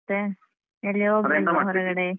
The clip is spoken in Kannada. ಮತ್ತೆ ಎಲ್ಲಿ ಹೋಗಿಲ್ವ ಹೊರಗಡೆ.